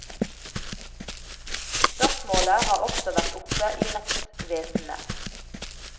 Spørsmålet har også vært oppe i rettsvesenet.